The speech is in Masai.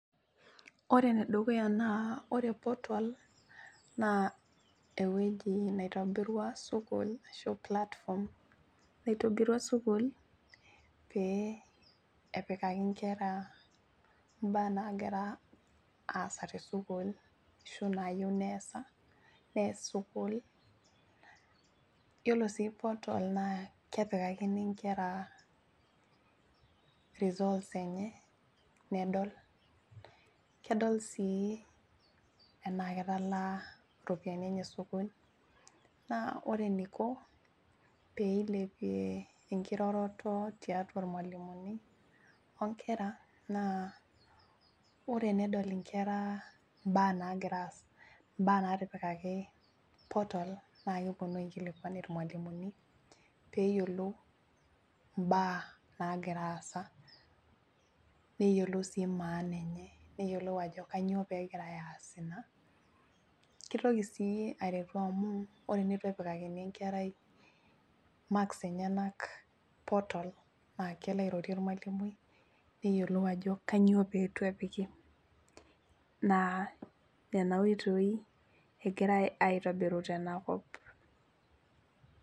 Ore enedukuya naa ore portal naa ewueji naitobirua sukuul ashu platform naitobirua sukuul pee epikaki inkera imbaa nagira aasa tesukul ashu nayieu neesa nees sukuul yiolo sii portal naa kepikakini inkera results enye nedol kedol sii enaa ketalaa iropiani enye esukuul naa ore eniko peilepie enkiroroto tiatua irmualimuni onkera naa ore enedol inkera imbaa nagira aasa imbaa natipikaki portal naa keponu aikilikuan irmualimuni peyiolou imbaa nagira aasa neyiolou sii maana enye neyiolou ajo kanyoo pegirae aas ina kitoki sii aretu amu ore enetu epikakini enkerai marks enenak portal naa kelo airorie ormualimui neyiolou ajo kanyio peetu epiki naa nena oitoi egirae aitobiru tenakop.